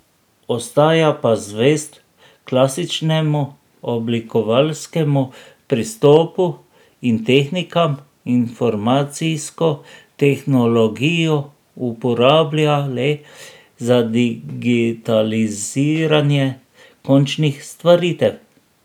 Ostaja pa zvest klasičnemu oblikovalskemu pristopu in tehnikam, informacijsko tehnologijo uporablja le za digitaliziranje končnih stvaritev.